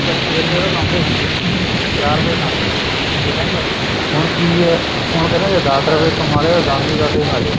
ਛੇ ਰੁਪਏ ਤਾਂ ਲਾਉਂਦੇ ਸੀਗੇ ਚਾਰ ਰੁਪਏ ਖਾਂਦੇ ਸੀਗੇ ਹੁਣ ਕੀ ਏ ਹੁਣ ਕਹਿੰਦੇ ਏ ਜੇ ਦਸ ਰੁਪਏ ਕਮਾ ਰਹੇ ਓ ਦੱਸ ਦੇ ਦਸ ਹੀ ਖਾਜੋ